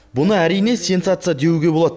бұны әрине сенсация деуге болады